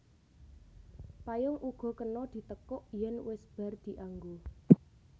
Payung uga kena ditekuk yèn wis bar dianggo